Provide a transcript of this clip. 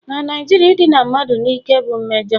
Na Naijiria idina mmadụ n'ike bụ mmejọ